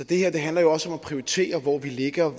det her handler jo også om at prioritere hvor vi lægger